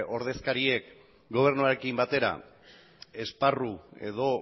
ordezkariek gobernuarekin batera esparru edo